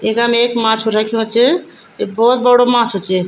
यखम एक माछु रख्युं च ये भोत बड़ू माछु च।